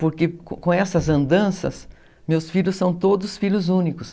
Porque com essas andanças, meus filhos são todos filhos únicos.